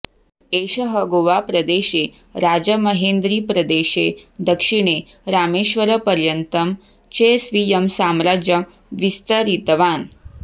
एषः गोवाप्रदेशे राजमहेन्द्रिप्रदेशे दक्षिणे रामेश्वरपर्यन्तम् चे स्वीयं साम्राज्यम् विस्तरितवान्